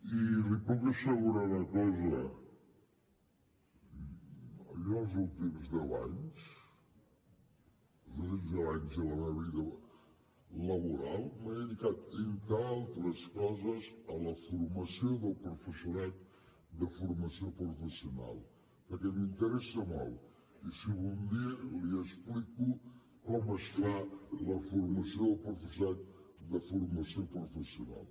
i li puc assegurar una cosa jo els últims deu anys de la meva vida laboral m’he dedicat entre altres coses a la formació del professorat de formació professional perquè m’interessa molt i si vol algun dia li explico com es fa la formació del professorat de formació professional